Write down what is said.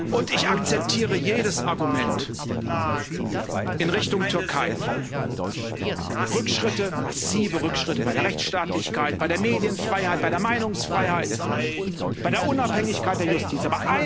Und ich akzeptiere jedes Argument in Richtung Türkei Rückschritte, massive Rückschritte bei der Rechtsstaatlichkeit, bei der Medienfreiheit, bei der Meinungsfreiheit, bei der Unabhängigkeit der Justiz.